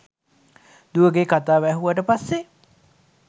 දුවගෙ කතාව ඇහුවට පස්සෙ